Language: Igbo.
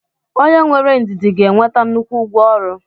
onye nwere ndidi ga-enweta nnukwu ụgwọ ọrụ